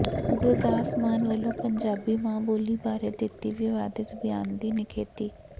ਗੁਰਦਾਸ ਮਾਨ ਵੱਲੋ ਪੰਜਾਬੀ ਮਾਂ ਬੋਲੀ ਬਾਰੇ ਦਿੱਤੇ ਵਿਵਾਦਿਤ ਬਿਆਨ ਦੀ ਨਿਖੇਧੀ